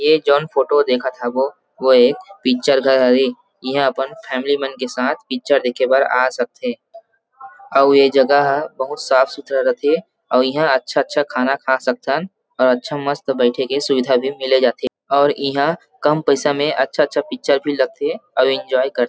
ए जोन फोटो देखत हवो वो एक पिक्चर घर हरे इहां अपन फॅमिली मन के साथ पिक्चर देखे बर आ सक थे अउ ए जगह ह बहुत साफ़ सुथरा रथे अउ यहा अच्छा-अच्छा खाना खा सकथन अउ अच्छा मस्त बैठे के सुविधा भी मिले जात हे अउ इहां काम पैसा मे अच्छा-अच्छा पिक्चर भी लग थे और एन्जॉय कर थे।